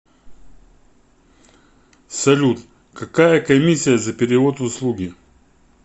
салют какая комисия за перевод услуги